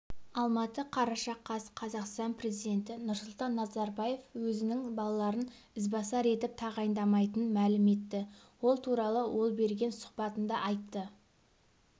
алматы қараша қаз қазақстан президенті нұрсұлтан назарбаев өзінің балаларын ізбасар етіп тағайындамайтынын мәлім етті ол туралы ол берген сұхбатында айтты